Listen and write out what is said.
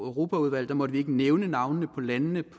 europaudvalg måtte vi ikke nævne navnene på landene